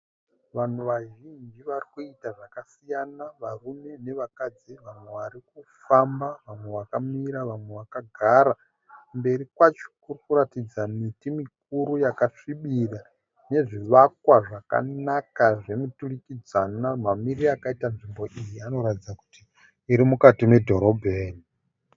Vanhu vazhinji vari kuita zvakasiyana varume nevakadzi vamwe vari kufamba, vamwe vakamira, vamwe vakagara. Kumberi kwacho kuri kuratidza miti mikuru yakasvibira nezvivakwa zvakanaka zvemuturikidzwana. Mamirire akaita nzvimbo iyi inoratidza kuti iri mukati medhorobheni.